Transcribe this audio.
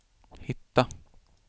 hitta